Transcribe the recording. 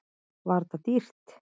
Var þetta dýrt?